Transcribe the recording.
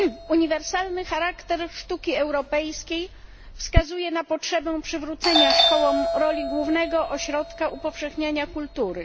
Uniwersalny charakter sztuki europejskiej wskazuje na potrzebę przywrócenia szkołom roli głównego ośrodka upowszechniania kultury.